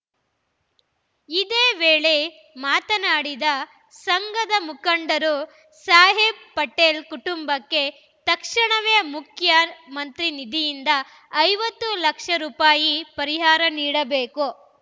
ಇದೇ ವೇಳೆ ಮಾತನಾಡಿದ ಸಂಘದ ಮುಖಂಡರು ಸಾಹೇಬ್‌ ಪಟೇಲ್‌ ಕುಟುಂಬಕ್ಕೆ ತಕ್ಷಣವೇ ಮುಖ್ಯಮಂತ್ರಿ ನಿಧಿಯಿಂದ ಐವತ್ತು ಲಕ್ಷ ರೂಪಾಯಿ ಪರಿಹಾರ ನೀಡಬೇಕು